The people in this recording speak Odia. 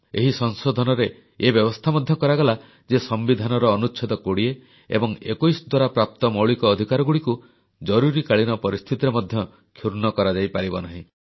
ଏହି ସଂଶୋଧନରେ ଏ ବ୍ୟବସ୍ଥା ମଧ୍ୟ କରାଗଲା ଯେ ସମ୍ବିଧାନର ଅନୁଚ୍ଛେଦ 20 ଏବଂ 21 ଦ୍ୱାରା ପ୍ରାପ୍ତ ମୌଳିକ ଅଧିକାରଗୁଡ଼ିକୁ ଜରୁରୀକାଳୀନ ପରିସ୍ଥିତିରେ ମଧ୍ୟ କ୍ଷୁର୍ଣ୍ଣ କରାଯାଇପାରିବ ନାହିଁ